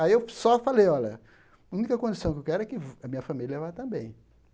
Aí eu só falei, olha, única condição que eu quero é que vh a minha família vá também.